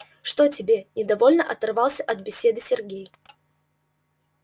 чего тебе недовольно оторвался от беседы сергей